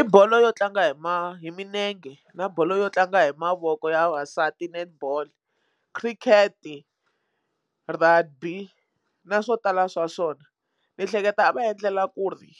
I bolo yo tlanga hi hi minenge na bolo yo tlanga hi mavoko ya vavasati netball cricket rugby na swo tala swa swona ni hleketa va endlela ku ri